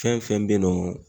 Fɛn fɛn be yen nɔ